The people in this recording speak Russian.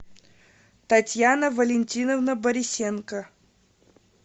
татьяна валентиновна борисенко